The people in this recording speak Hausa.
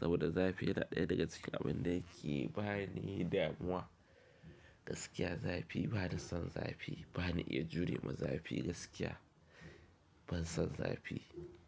Saboda zafi yana ɗaya daga cikin abun da yake bani damuwa. Gaskiya zafi bani son zafi bani iya jure ma zafi gaskiya ban son zafi.